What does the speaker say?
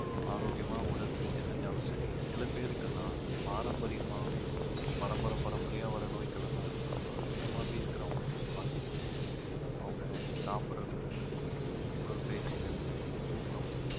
ஆரோக்கியமா உடற்பயிற்சி செஞ்சாலும் சரி சில பேருக்கு எல்லாம் பாரம்பரியமாவே பரம்பரை பரம்பரையா வர்ற நோய்கள் எல்லாம் இருக்கு இப்ப அந்த மாதிரி இருக்கிறவங்களை நீங்க பார்த்தீங்கன்னா அவங்க சாப்பிடுறதுல இருந்து உடற்பயிற்சியில இருந்து தூக்கம்